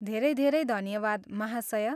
धेरै धेरै धन्यवाद महाशय!